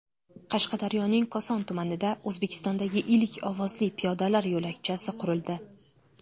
Qashqadaryoning Koson tumanida O‘zbekistondagi ilk ovozli piyodalar yo‘lakchasi qurildi .